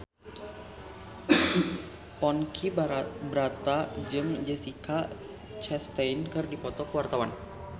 Ponky Brata jeung Jessica Chastain keur dipoto ku wartawan